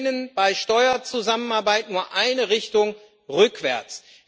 Sie kennen bei Steuerzusammenarbeit nur eine Richtung rückwärts.